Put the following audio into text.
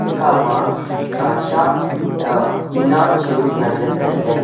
ekha ma aa sat aa tina chu nganla tailey.